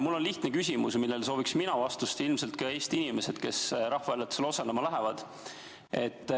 Mul on lihtne küsimus, millele sooviksin vastust mina ja ilmselt sooviksid ka Eesti inimesed, kes rahvahääletusele osalema lähevad.